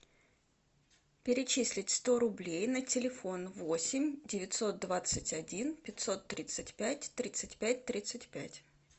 перечислить сто рублей на телефон восемь девятьсот двадцать один пятьсот тридцать пять тридцать пять тридцать пять